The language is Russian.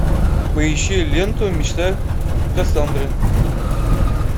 поищи ленту мечта кассандры